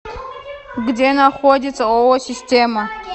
где находится ооо система